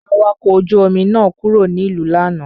Awakọ̀ ojú-omi náà kúrò nílùú lánàá.